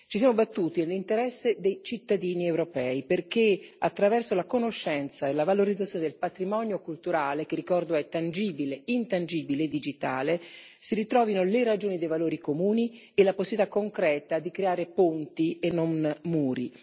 Ci siamo battuti nell'interesse dei cittadini europei, perché attraverso la conoscenza e la valorizzazione del patrimonio culturale che, ricordo, è intangibile e digitale si ritrovino le ragioni dei valori comuni e la possibilità concreta di creare ponti e non muri.